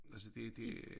Altså det det